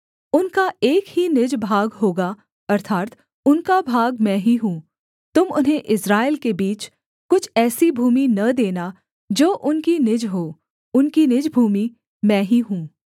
उनका एक ही निज भाग होगा अर्थात् उनका भाग मैं ही हूँ तुम उन्हें इस्राएल के बीच कुछ ऐसी भूमि न देना जो उनकी निज हो उनकी निज भूमि मैं ही हूँ